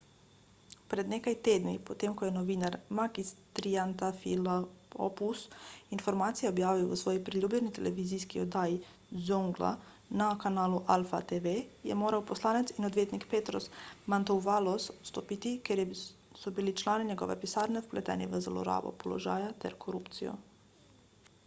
pred nekaj tedni potem ko je novinar makis triantafylopoulos informacije objavil v svoji priljubljeni televizijski oddaji zoungla na kanalu alpha tv je moral poslanec in odvetnik petros mantouvalos odstopiti ker so bili člani njegove pisarne vpleteni v zlorabo položaja ter korupcijo